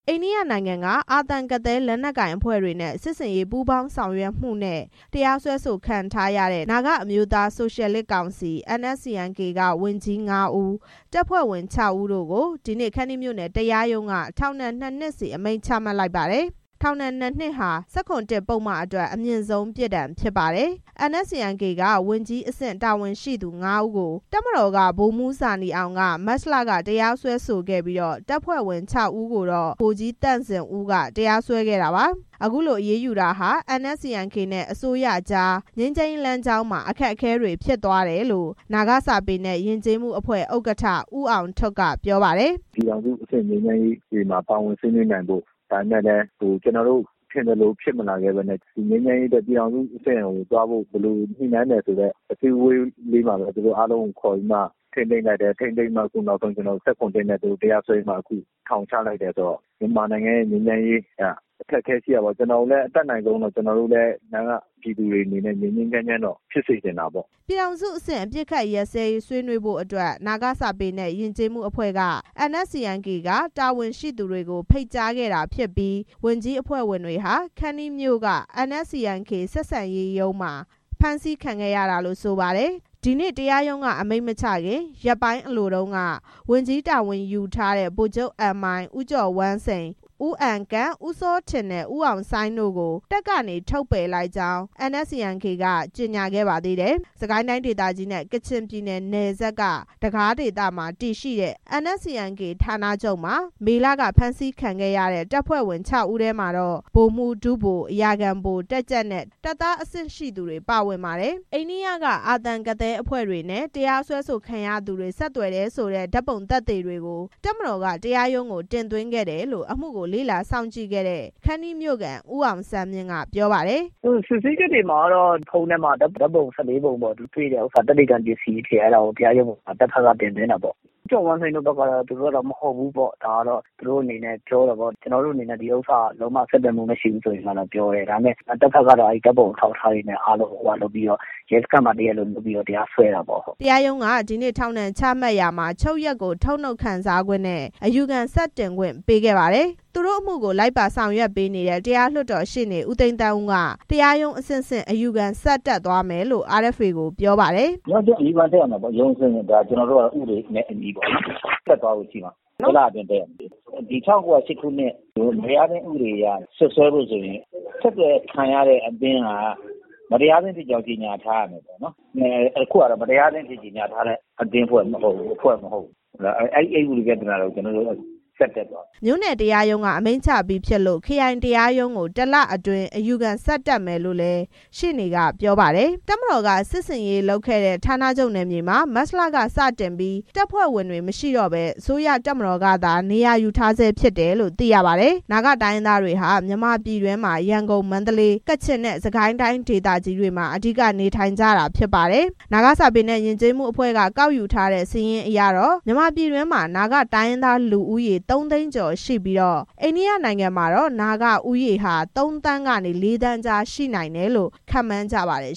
အိန္ဒိယနိုင်ငံက အာသံ၊ ကသည်း လက်နက်ကိုင်အဖွဲ့တွေနဲ့ စစ်ဆင်ရေး ပူးပေါင်းဆောင်ရွက်မှုနဲ့ တရားစွဲဆိုခံထားရတဲ့ နာဂအမျိုးသား ဆိုရှယ်လစ်ကောင်စီ NSCN-K က ဝန်ကြီး ငါးဦး၊ တပ်ဖွဲ့ဝင် ခြောက်ဦး တို့ကို ဒီနေ့ ခန္တီးမြို့နယ် တရားရုံးက ထောင်ဒဏ် နှစ်နှစ်စီ ချမှတ်လိုက်ပါတယ်။ ထောင်ဒဏ် နှစ်နှစ်ဟာ ၁၇(၁) ပုဒ်မအတွက် အမြင့်ဆုံးပြစ်ဒဏ်ဖြစ်ပါတယ်။ NSCN-K က ဝန်ကြီး တာဝန်ရှိသူ ငါးဦးကို ဗိုလ်မှူးဇာနည်အောင်က မတ်လမှာ တရားစွဲခဲ့ပြီး၊ တပ်ဖွဲ့ဝင် ခြောက်ဦးကိုတော့ ဗိုလ်ကြီး သန့်ဇင်ဦးက တရားစွဲခဲ့တာပါ။ အခုလို အရေးယူတာဟာ NSCN-K နဲ့ အစိုးရကြား ငြိမ်းချမ်းရေး လမ်းကြောင်းမှာ အခက်အခဲတွေ ဖြစ်သွားတယ်လို့ နာဂစာပေနဲ့ ယဉ်ကျေးမှုအဖွဲ့ ဥက္ကဋ္ဌ ဦးအောင်ထွဋ်က ပြောပါတယ်။ “ပြည်ထောင်စုအဆင့်ဆွေးနွေးပွဲတွေမှာ ပါဝင်ဆွေးနွေးနိုင်ဖို့ ဒါပေမဲ့လည်း ကျနော်တို့ ထင်သလိုဖြစ်မလာဘဲနဲ့ ငြိမ်းချမ်းရေးအတွက် ဘယ်လိုအဆင့်ကိုသွားမယ်ဆိုတဲ့ အစည်းအဝေးလေးမှာပဲ သူတို့ကို ခေါ်ပြီးထိန်းသိမ်းလိုက်တယ်။ ထိန်းသိမ်းပြီး ၁၇ (၁) နဲ့ တရားစွဲပြီး အခုထောင်ချလိုက်တယ်။ မြန်မာနိုင်ငံရဲ့ ငြိမ်းချမ်းရေးက အခက်အခဲ ရှိတာပေါ့။ ကျနော်တို့လည်း နာဂ ပြည်သူတွေအနေနဲ့ ငြိမ်းငြိမ်းချမ်းချမ်းတော့ ဖြစ်စေချင်တာပေါ့” ပြည်ထောင်စုအဆင့်အပစ်ခတ်ရပ်စဲရေးအတွက် ဆွေးနွေးဖို့ နာဂစာပေနဲ့ ယဉ်ကျေးမှုအဖွဲ့က NSCN-K က တာဝန်ရှိသူတွေကို ဖိတ်ကြားခဲ့တာဖြစ်ပြီး ဝန်ကြီးအဖွဲ့ဝင်တွေဟာ ခန္တီးမြို့က NSCN-K ဆက်ဆံရေးရုံးမှာ ဖမ်းဆီးခံခဲ့ရတာလို့ ဆိုပါတယ်။ ဒီနေ့ တရားရုံးက အမိန့်မချခင် ရက်ပိုင်းအလိုမှာ ဝန်ကြီးတာဝန်ယူထားကြတဲ့ ဗိုလ်ချုပ် အန်မိုင်၊ ဦးကျော်ဝမ်းစိန်၊ ဦးအန်ကန့်၊ ဦးစောထင်နဲ့ ဦးအောင်ဆိုင်းတို့ကို တပ်ကနေ ထုတ်ပယ်လိုက်ကြောင်း NSCN-K က ကြေညာခဲ့ပါသေးတယ်။ စစ်ကိုင်းတိုင်းဒေသကြီးနဲ့ ကချင်ပြည်နယ် နယ်စပ်က တဂါးဒေသမှာ တည်ရှိတဲ့ NSCN-K ဌာနချုပ်မှာ မေလက ဖမ်းဆီးခံခဲ့ရတဲ့ တပ်ဖွဲ့ဝင် ခြောက်ဦးထဲမှာ ဗိုလ်မှူး၊ ဒုဗိုလ်၊ အရာခံဗိုလ်၊ တပ်ကြပ်နဲ့ တပ်သား အဆင့်တွေ ပါဝင်ပါတယ်။ အိန္ဒိယက အာသံ၊ ကသည်းအဖွဲ့တွေနဲ့ တရားစွဲခံရသူတွေ ဆက်သွယ်တယ်ဆိုတဲ့ ဓာတ်ပုံသက်သေတွေကို တပ်မတော်က တရားရုံးကို တင်သွင်းခဲ့တယ်လို့ အမှုကို လေ့လာစောင့်ကြည့်ခဲ့သူ ခန္တီးမြို့ခံ ဦးအောင်ဆန်းမြင့် ပြောပါတယ်။ “စစ်ဆေးချက်တွေမှာတော့ ဖုန်းထဲမှာ ဓါတ်ပုံ ၁၄ ပုံတွေတဲ့ဟာ သက်သေခံပစ္စည်းအဖြစ် အဲဒါကို တပ်ဘက်က တင်သွင်းတာပေါ့။ ဦးကျော်ဝမ်းစိန်တို့ဘက်ကတော့ ဒါကတော့မဟုတ်ဘူးပေါ့။ သူတို့အနေနဲ့ လုံးဝ ဆက်သွယ်မှုမရှိဘူးလို့ ပြောတယ်။ တပ်ဘက်ကတော့ ဓါတ်ပုံအထောက်အထားတွေနဲ့ ရဲစခန်းမှာ တရားလိုလုပ်ပြီး တရားစွဲခဲ့တာပေါ့” တရားရုံးက ဒီနေ့ ထောင်ဒဏ် ချမှတ်ရာမှာ ချုပ်ရက်ကို ထုတ်နုတ်ခံစားခွင့်နဲ့ အယူခံဆက်တင်ခွင့်ကို ပေးခဲ့ပါတယ်။ သူတို့အမှုကို လိုက်ပါဆောင်ရွက်ပေးနေတဲ့ တရားလွှတ်တော်ရှေ့နေ ဦးသိန်းသန်းဦးက တရားရုံးအဆင့်ဆင့် အယူခံတက်သွားမယ်လို့ RFA ကို ပြောပါတယ်။ “ရုံးအဆင့်ဆင့် အယူခံတက်တဲ့အခါ ကျနော်တို့က ဥပဒေနဲ့ အညီဆက်သွားဖို့ရှိတယ်။ တစ်လအတွင်း တက်ရမယ်။ ၁၉၀၈ ခုနှစ် မတရားအသင်းဥပဒေအရ စွပ်စွဲလို့ရှိရင် ဆက်သွယ်ခံရတဲ့အသင်းက မတရားအသင်းဖြစ်ကြောင်း ကြေညာထားရမယ်။ အခုအဖွဲ့ ( အာသံ၊ ကသည်း) က မတရားအသင်းအဖြစ် ကြေညာထားတဲ့ အသင်းအဖွဲ့မဟုတ်ဘူး။ အဲဒါနဲ့ ကျနော်တို့ ဆက်တက်သွားမယ်” မြို့နယ်တရားရုံးက အမိန့်ချပြီးဖြစ်လို့ ခရိုင်တရားရုံးကို တစ်လအတွင်း အယူခံတက်မယ်လို့လည်း ရှေ့နေက ပြောပါတယ်။ တပ်မတော်က စစ်ဆင်ရေးလုပ်ခဲ့တဲ့ ဌာနချုပ်နယ်မြေမှာ မတ်လ ကစတင်ပြီး တပ်ဖွဲ့ဝင်တွေမရှိတော့ဘဲ အစိုးရတပ်မတော်ကသာ နေရာယူထားဆဲဖြစ်တယ်လို့ သိရပါတယ်။ နာဂ တိုင်းရင်းသားတွေဟာ မြန်မာပြည်တွင်းမှာ ရန်ကုန်၊ မန္တလေး၊ ကချင်နဲ့ စစ်ကိုင်းတိုင်းဒေသကြီးတွေမှာ အဓိက နေထိုင်ကြတာဖြစ်ပါတယ်။ နာဂစာပေနဲ့ ယဉ်ကျေးမှုအဖွဲ့က ကောက်ယူထားတဲ့ စာရင်းအရ မြန်မာပြည်တွင်းမှာ နာဂတိုင်းရင်းသား လူဦးရေ သုံးသိန်းကျော်ရှိပြီး အိန္ဒိယနိုင်ငံမှာတော့ နာဂဦးရေဟာ သုံးသန်းကနေ လေးသန်းကြား ရှိနိုင်တယ်လို့ ခန့်မှန်းကြပါတယ်